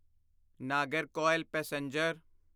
Nagercoil passenger